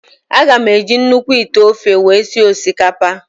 Aga m eji nnukwu ite ofe wee sie osikapa ahụ.